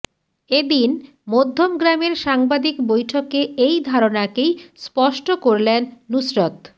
এদিন মধ্যমগ্রামের সাংবাদিক বৈঠকে এই ধারণাকেই স্পষ্ট করলেন নুসরত